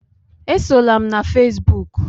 Esola m na fesbụụk!